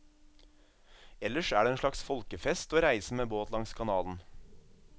Ellers er det en slags folkefest å reise med båt langs kanalen.